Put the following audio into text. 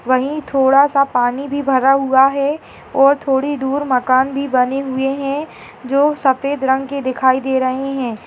वही थोड़ा सा पानी भी भरा हुआ है और थोड़ी दूर मकान भी बनी हुई है जो सफेद रंग के दिखाई दे रहे है।